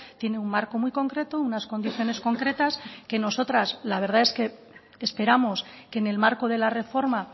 tiene un marco muy concreto unas condiciones concretas que nosotras la verdad es que esperamos que en el marco de la reforma